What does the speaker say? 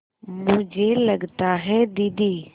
मुझे लगता है दीदी